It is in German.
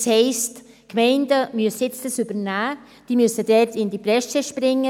Das heisst: Die Gemeinden müssen das jetzt übernehmen, sie müssen dort in die Bresche springen.